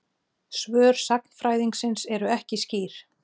Svör sagnfræðingsins eru ekki skýr.